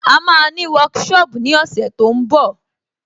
À máa ní workshop ní ọ̀sẹ̀ tó ń bọ̀